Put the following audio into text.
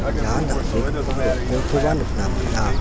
ian dal·begipa rong·kolkoba nikna man·a.